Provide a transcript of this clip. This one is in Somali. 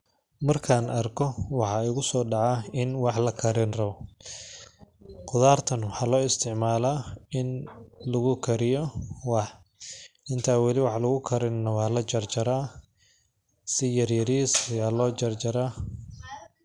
Markaan arko waxaa igusoo dhacaa in wa la karin rabo ,qudaar tan waxaa loo isticmalaa in lagu kariyo wax ,intaan wali wax lagu karinin waa la jarjaraa ,si yaryariis ayaa loo jarjaraa .